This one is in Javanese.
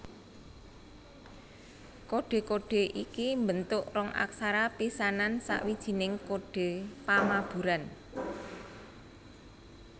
Kodhe kodhe iki mbentuk rong aksara pisanan sawijining kodhe pamaburan